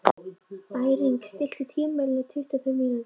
Bæring, stilltu tímamælinn á tuttugu og fimm mínútur.